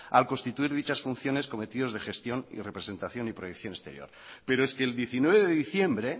al constituir dichas funciones cometidos de gestión y representación y proyección exterior pero es que el diecinueve de diciembre